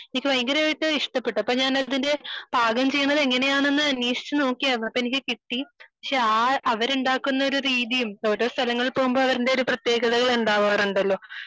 എനിക്ക് ഭയങ്കരയിട്ട് ഇഷ്ടപ്പെട്ടു അപ്പൊ ഞാൻ അത് പാകം ചെയ്യുന്നത് എങ്ങനെയാണെന്ന് അന്വേഷിച്ചു നോക്കിയിരുന്നു . അത് എനിക്ക് കിട്ടി പക്ഷെ അവർ ഉണ്ടാക്കുന്ന ഒരു രീതിയും ഓരോ സ്ഥലങ്ങളിൽ പോവുമ്പോൾ അതിന്റെതായ പ്രത്യേകതകൾ ഉണ്ടാവാറുണ്ടല്ലോ